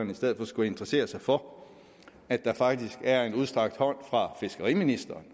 i stedet for skulle interessere sig for at der faktisk er en udstrakt hånd fra fiskeriministeren